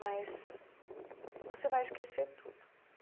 Mas você vai esquecer tudo.